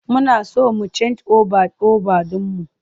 Muna so mu cen oba over ɗin mu.